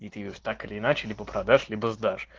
и ты её так или иначе либо продашь либо сдашь